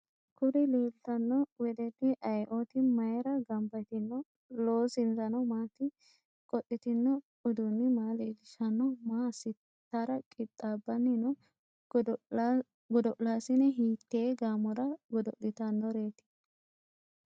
Kuri leeltanno weddelli ayeeooti? mayira gamba yitino? Loosinsano maati? Qodhitino uduunni maa leellishanno? Maa assitara qixxaabbanni no? Godo'laasine hiittee gaamora godo'liatannoreeti?